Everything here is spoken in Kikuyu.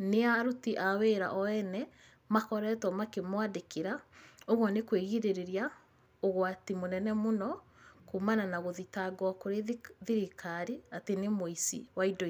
nĩ aruti a wĩra o ene makoretwo makĩmwandĩkĩra. Ũguo nĩ kwĩgirĩrĩria ũgwati mũnene mũno kuumana na gũthitangwo kũrĩ thirikari atĩ nĩ mũici wa indo ici..